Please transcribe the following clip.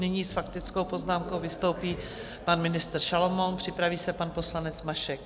Nyní s faktickou poznámkou vystoupí pan ministr Šalomoun, připraví se pan poslanec Mašek.